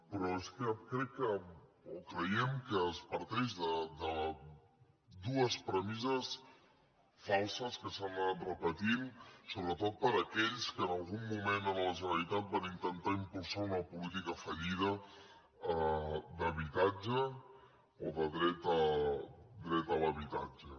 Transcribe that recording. però és que crec o creiem que es parteix de dues premisses falses que s’han anat repetint sobretot per aquells que en algun moment a la generalitat van intentar impulsar una po·lítica fallida d’habitatge o de dret a l’habitatge